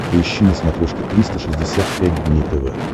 поищи на смотрешке триста шестьдесят пять дней тв